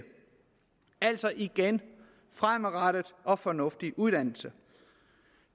altså igen fremadrettet og fornuftig uddannelse